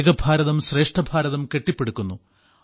ഏക ഭാരതം ശ്രേഷ്ഠ ഭാരതം കെട്ടിപ്പടുക്കുന്നു